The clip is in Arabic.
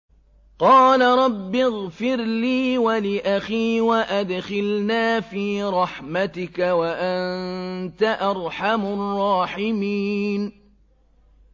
قَالَ رَبِّ اغْفِرْ لِي وَلِأَخِي وَأَدْخِلْنَا فِي رَحْمَتِكَ ۖ وَأَنتَ أَرْحَمُ الرَّاحِمِينَ